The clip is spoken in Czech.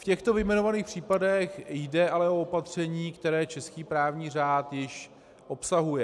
V těchto vyjmenovaných případech jde ale o opatření, které český právní řád již obsahuje.